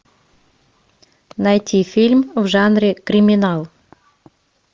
найти фильм в жанре криминал